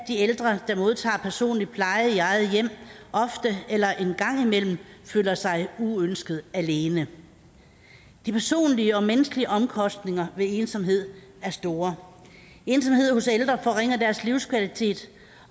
ældre der modtager personlig pleje i eget hjem ofte eller en gang imellem føler sig uønsket alene de personlige og menneskelige omkostninger ved ensomhed er store ensomhed hos ældre forringer deres livskvalitet